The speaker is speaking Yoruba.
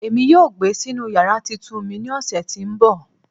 Emi yoo gbe sinu yara titun mi ni ọsẹ ti nbọ